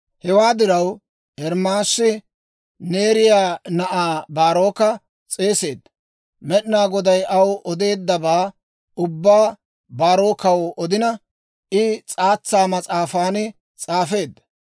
Hewaa diraw, Ermaasi Neeriyaa na'aa Baaroka s'eeseedda; Med'inaa Goday aw odeeddabaa ubbaa Baarookkaw odina, I s'aatsa mas'aafan s'aafeedda.